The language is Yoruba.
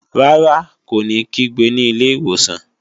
Rárá, kó ní kígbe ní ilé ìwòsàn